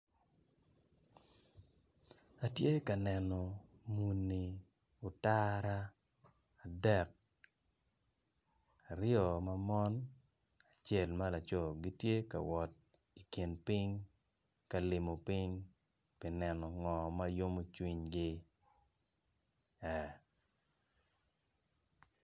Atye ka neno muni otara adek aryo ma mon acel ma laco gitye ka wot i kin piny gitye kawot ka limo piny pi neno ngo ma yomo cwinygi ee